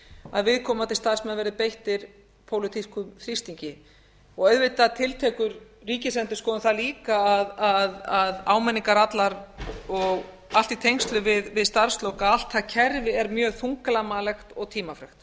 að viðkomandi starfsmenn verði beittir pólitískum þrýstingi auðvitað tiltekur ríkisendurskoðun það líka að áminningar allar og allt í tengslum við starfslok og allt það kerfi er mjög þunglamalegt og tímafrekt